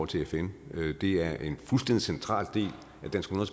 til fn det er en fuldstændig central del